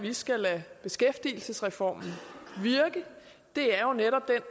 vi skal lade beskæftigelsesreformen virke det er jo netop den